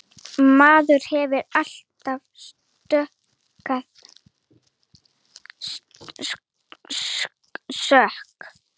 Maðurinn hefur alltaf neitað sök.